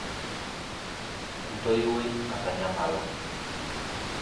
Entoiwoi natanyamala.